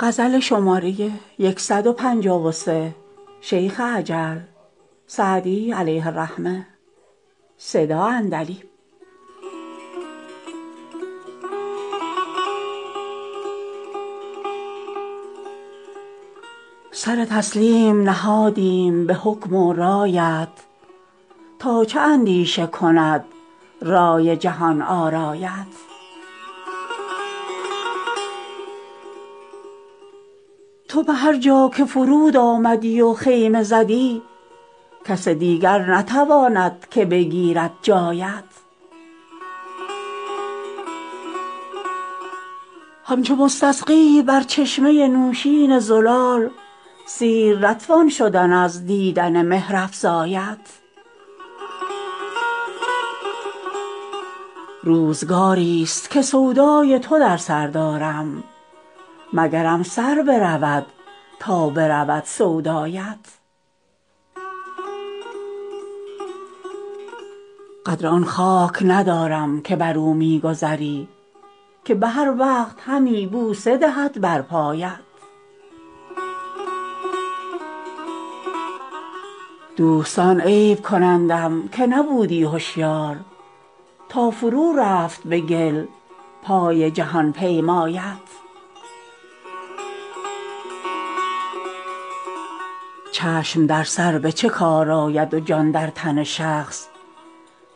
سر تسلیم نهادیم به حکم و رایت تا چه اندیشه کند رای جهان آرایت تو به هر جا که فرود آمدی و خیمه زدی کس دیگر نتواند که بگیرد جایت همچو مستسقی بر چشمه نوشین زلال سیر نتوان شدن از دیدن مهرافزایت روزگاریست که سودای تو در سر دارم مگرم سر برود تا برود سودایت قدر آن خاک ندارم که بر او می گذری که به هر وقت همی بوسه دهد بر پایت دوستان عیب کنندم که نبودی هشیار تا فرو رفت به گل پای جهان پیمایت چشم در سر به چه کار آید و جان در تن شخص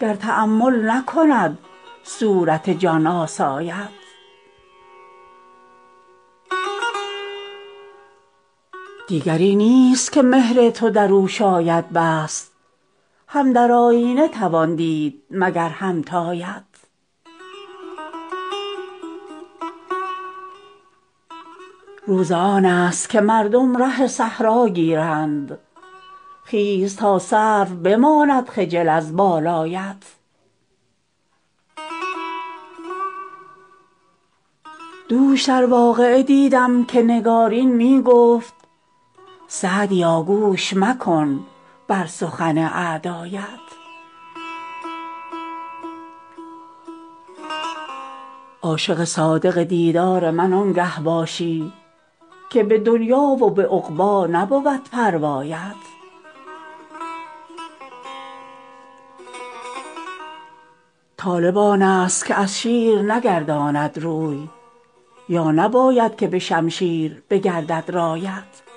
گر تأمل نکند صورت جان آسایت دیگری نیست که مهر تو در او شاید بست هم در آیینه توان دید مگر همتایت روز آن است که مردم ره صحرا گیرند خیز تا سرو بماند خجل از بالایت دوش در واقعه دیدم که نگارین می گفت سعدیا گوش مکن بر سخن اعدایت عاشق صادق دیدار من آنگه باشی که به دنیا و به عقبی نبود پروایت طالب آن است که از شیر نگرداند روی یا نباید که به شمشیر بگردد رایت